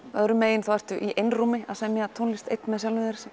öðru megin ertu í einrúmi að semja tónlist einn með sjálfum þér